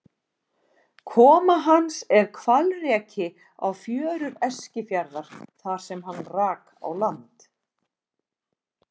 Koma hans er hvalreki á fjörur Eskifjarðar þar sem hann rak á land.